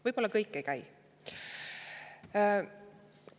Võib-olla ei käi ka.